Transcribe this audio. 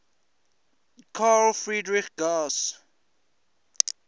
carl friedrich gauss